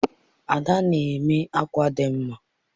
Ade na-eme akwa dị nma.